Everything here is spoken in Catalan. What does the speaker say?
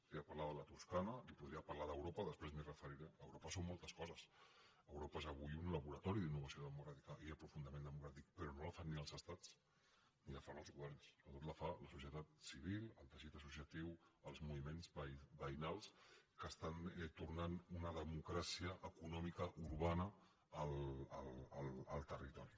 podria parlar de la toscana li podria parlar d’europa després m’hi referiré europa són moltes coses europa és avui un laboratori d’innovació democràtica i d’aprofundiment democràtic però no la fan ni els estats ni la fan els governs sobretot la fa la societat civil el teixit associatiu els moviments veïnals que estan tornant una democràcia econòmica urbana al territori